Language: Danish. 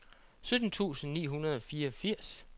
sytten tusind ni hundrede og fireogfirs